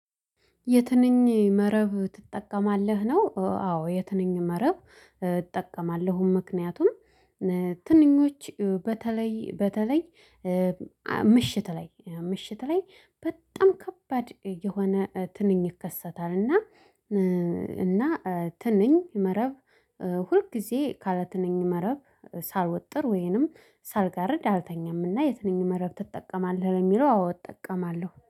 የትንኝ መረብ ትጠቀማለህ ነው? አዎ የትንኝ መረብ እጠቀማለሁም ምክንያቱም ትንኞች በተለይ በተለይ ምሽት ላይ ምሽት ላይ በጣም ከባድ የሆነ ትንኝ ይከሰታል። እና እና ትንኝ መረብ ሁል ጊዜ ካለ ትንኝ መረብ ሳልወጥር ወይንም ሳልጋርድ አልተኛም። እና የትንኝ መረብ ትጠቀማለህ? ለሚለው አዎ እጠቀማለሁ